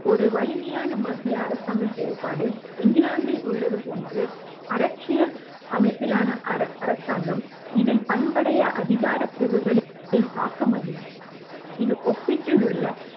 ஒரு வலிமையான மத்திய அரசாங்க செயல்பாடு இங்கிலாந்தில் உள்ளது போன்று அரசியல் அமைப்பிலான அரசாங்கம் இதில் பண்புடைய அதிகார பிரிவுகளின் தாக்கம் அதிகம் இதில் ஒப்பிட்டுள்ள